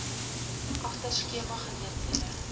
agter skema geleenthede